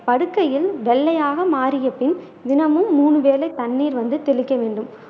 படுக்கையில் வெள்ளையாக மாறிய பின் தினமும் மூன்று வேளை தண்ணீர் வந்து தெளிக்க வேண்டும்